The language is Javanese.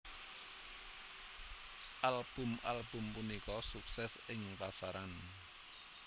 Album album punika sukses ing pasaran